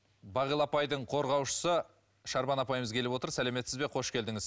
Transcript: бағила апайдың қорғаушысы шарбан апайымыз келіп отыр сәлеметсіз бе қош келдіңіз